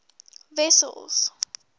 wessels